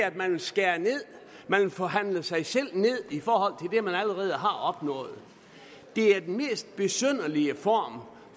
at man skærer ned at man vil forhandle sig selv ned i forhold det man allerede har opnået det er den mest besynderlige form